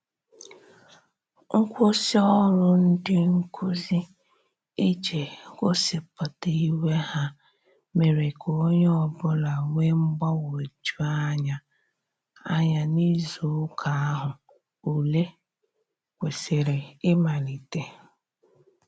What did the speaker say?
Nkwụsị ọrụ ndị nkụzi ije gosipụta iwe ha mere ka onye ọbụla wee mgbanweju anya anya n'izụ ụka ahu ụle kwesiri imalite